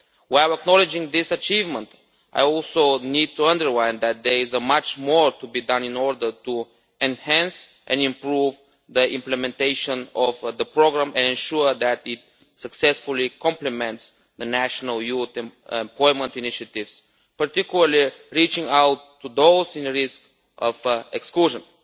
While acknowledging this achievement, I also need to underline that there is much more to be done in order to enhance and improve the implementation of the programme and ensure that it successfully complements the national youth employment initiatives, in particular by reaching out to those at risk of exclusion.